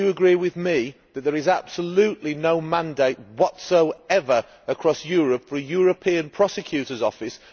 But would you agree with me that there is absolutely no mandate whatsoever across Europe for a European prosecutor's office?